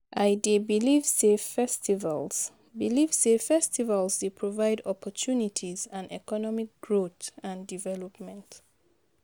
I dey believe say festivals believe say festivals dey provide opportunties and economic growth and development.